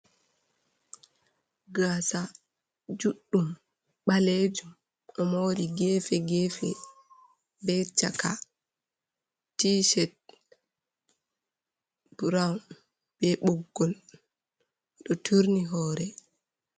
Gasa juɗɗum balejum ɗo mori gefe gefe be chaka, tishet burawn be ɓuggol ɗo turni hore.